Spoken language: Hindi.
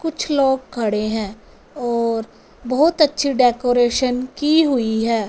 कुछ लोग खड़े हैं और बहोत अच्छी डेकोरेशन की हुई हैं।